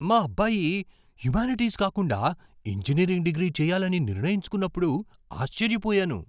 మా అబ్బాయి హ్యుమానిటీస్ కాకుండా ఇంజనీరింగ్ డిగ్రీ చేయాలని నిర్ణయించుకున్నప్పుడు ఆశ్చర్యపోయాను.